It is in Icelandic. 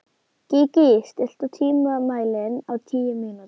Gígí, stilltu tímamælinn á tíu mínútur.